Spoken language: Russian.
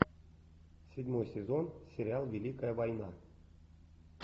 седьмой сезон сериал великая война